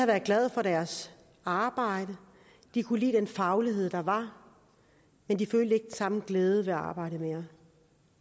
været glade for deres arbejde og de kunne lide den faglighed der var men de følte ikke samme glæde ved arbejdet mere